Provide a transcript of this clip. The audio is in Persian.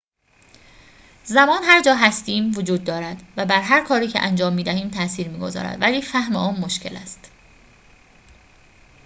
زمان هر جا هستیم وجود دارد و بر هر کاری که انجام می‌دهیم تأثیر می‌گذارد ولی فهم آن مشکل است